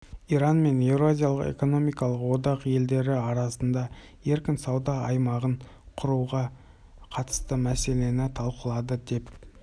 иран мен еуразиялық экономикалық одақ елдері арасында еркін сауда аймағын құруға қатысты мәселені талқылады деп